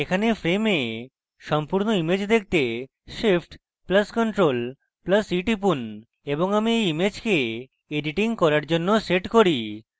এখানে frame সম্পূর্ণ image পেতে shift + ctrl + e টিপুন এবং এখন আমি এই ইমেজকে editing এর জন্য set করি